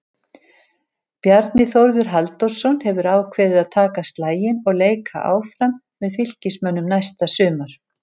Bjarni Þórður Halldórsson hefur ákveðið að taka slaginn og leika áfram með Fylkismönnum næsta sumar.